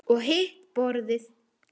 Og hitt borðið?